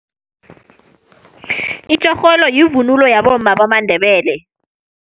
Itjorholo yivunulo yabomma bamaNdebele.